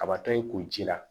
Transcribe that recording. Kabatɔ ye kunci la